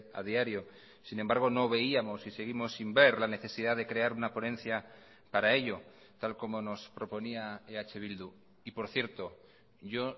a diario sin embargo no veíamos y seguimos sin ver la necesidad de crear una ponencia para ello tal como nos proponía eh bildu y por cierto yo